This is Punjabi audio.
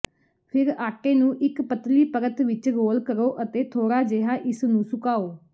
ਫਿਰ ਆਟੇ ਨੂੰ ਇਕ ਪਤਲੀ ਪਰਤ ਵਿਚ ਰੋਲ ਕਰੋ ਅਤੇ ਥੋੜਾ ਜਿਹਾ ਇਸ ਨੂੰ ਸੁਕਾਓ